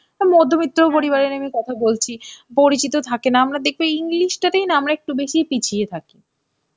মধ্যবিত্ত পরিবারেরই আমি কথা বলছি. পরিচিত থাকে না. আমরা দেখবে English টাতেই না আমরা একটু বেশিই পিছিয়ে থাকি.